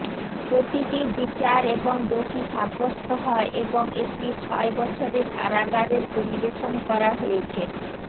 প্রতিটি বিচার এবং দোষী সাব্যস্ত হয় এবং একটি ছয় বছরের কারাগারের পরিবেশন করা হয়েছে